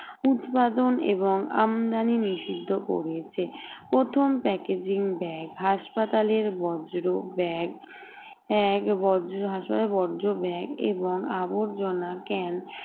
উৎপাদন এবং আমদানি নিষিদ্ধ করেছে প্রথম packaging bag হাসপাতালের বজ্র bag এক বজ্র হাসপাতালের বজ্র bag এবং আবর্জনা can